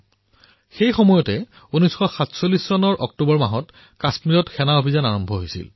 সেই সময়ত ১৯৪৭ চনৰ অক্টোবৰত কাশ্মীৰত এক সেনা অভিযান আৰম্ভ হৈছিল